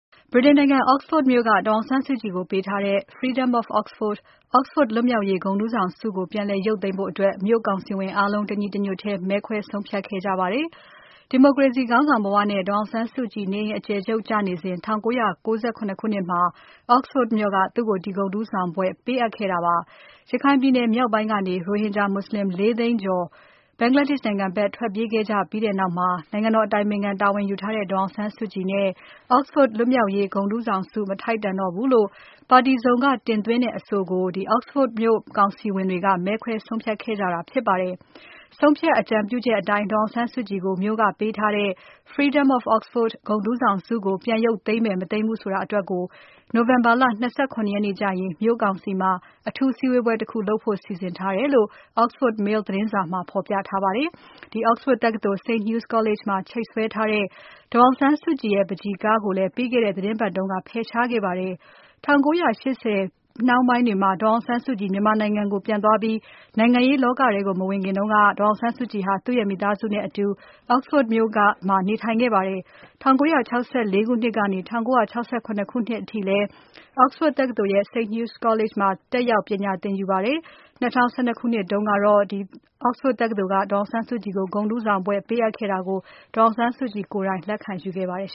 ဗြိတိန်နိုင်ငံ Oxford မြို့က ဒေါ်အောင်ဆန်းစုကြည်ကို ပေးထားတဲ့ “Freedom of Oxford” Oxford လွတ်မြောက်ရေးဂုဏ်ထူးဆောင်ဆုကို ပြန်လည်ရုတ်သိမ်းဖို့အတွက် မြို့ကောင်စီဝင်အားလုံး တညီတညွတ်ထဲ မဲခွဲဆုံးဖြတ်ခဲ့ကြပါတယ်။ ဒီမိုကရေစီခေါင်းဆောင်ဘဝနဲ့ ဒေါ်အောင်ဆန်းစုကြည် နေအိမ်အကျယ်ချုပ်ကျနေစဉ် 1997 ခုနှစ်မှာ Oxford မြို့က သူ့ကို ဒီဂုဏ်ထူးဆောင်ဘွဲ့ ပေးအပ်ခဲ့တာပါ။ ရခိုင်ပြည်နယ် မြောက်ပိုင်းကနေ ရိုဟင်ဂျာ မူဆလင် ၄ သိန်းကျော် Bangladesh နိုင်ငံဖက် ထွက်ပြေး ခဲ့ကြပြီးနောက် နိုင်ငံတော်အတိုင်ပင်ခံ တာဝန်ယူထားတဲ့ ဒေါ်အောင်ဆန်းစုကြည်နဲ့ Oxford လွတ်မြောက်ရေးဂုဏ်ထူးဆောင်ဆု မထိုက်တန်တော့ဘူးလို့ ပါတီစုံက တင်သွင်းတဲ့ အဆိုကို Oxford မြို့ကောင်စီဝင်တွေ မဲခွဲဆုံးဖြတ်ခဲ့ကြတာဖြစ်ပါတယ်။ ဆုံးဖြတ်အကြံပြုချက်အတိုင်း ဒေါ်အောင်ဆန်းစုကြည်ကို မြို့ကပေးထားတဲ့ “Freedom of Oxford” ဂုဏ်ထူးဆောင်ဆုကို ပြန်ရုတ်သိမ်းမယ် မသိမ်းဘူးဆိုတာအတွက် November လ ၂၇ ရက်နေ့ကျရင် မြို့ကောင်စီမှာ အထူးစည်းဝေးပွဲတခု လုပ်ဖို့စီစဉ်ထားတယ်လို့ Oxford Mail သတင်းစာမှာ သတင်းဖော်ပြထားပါတယ်။ Oxford တက္ကသိုလ် St Hugh's College မှာ ချိတ်ဆွဲထားတဲ့ ဒေါ်အောင်ဆန်းစုကြည်ရဲ့ ပန်းချီကားကိုလည်း ပြီးခဲ့တဲ့သီတင်းပါတ်တုန်းက ဖယ်ရှားခဲ့ပါတယ်။ မြန်မာနိုင်ငံကို ပြန်မသွားခင်က ဒေါ်အောင်ဆန်းစုကြည်ဟာ မိသားစုနဲ့အတူ Oxford မြို့မှာ နေထိုင်ခဲ့ ပါတယ်။ ၁၉၆၄ ခုနှစ်ကနေ ၁၉၆၇ ခုနှစ်အထိလည်း Oxford တက္ကသိုလ် St Hugh's College မှာ တက်ရောက် ပညာသင်ယူခဲ့ပါတယ်။ ၂၀၁၂ ခုနှစ်တုန်းကတော့ Oxford တက္ကသိုလ်က ဒေါ်အောင်ဆန်းစုကြည်ကို ဂုဏ်ထူးဆောင်ဘွဲ့ပေးအပ်ခဲ့တာကို ဒေါ်အောင်ဆန်းစုကြည်ကိုယ်တိုင် လက်ခံယူခဲ့ပါတယ်